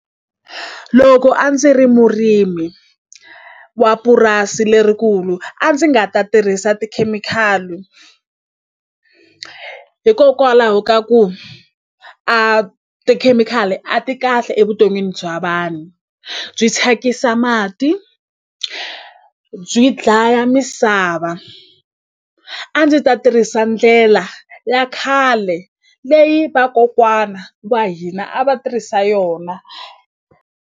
Loko a ndzi ri murimi wa purasi lerikulu a ndzi nga ta tirhisa tikhemikhali hikokwalaho ka ku a tikhemikhali a ti kahle evuton'wini bya vanhu byi thyakisa mati byi dlaya misava a ndzi ta tirhisa ndlela ya khale leyi vakokwana wa hina a va tirhisa yona.